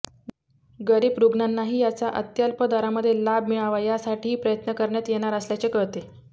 गरीब रुग्णांनाही याचा अत्यल्प दरामध्ये लाभ मिळावा यासाठीही प्रयत्न करण्यात येणार असल्याचे कळते